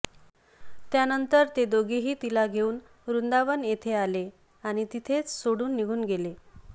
त्यानंतर ते दोघेही तिला घेऊन वृंदावन येथे आले आणि तिथेच सोडून निघून गेले